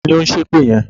Taàní ó ń ṣépè yẹn?